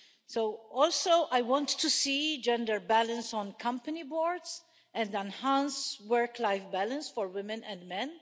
I also want to see gender balance on company boards and enhanced work life balance for women and men.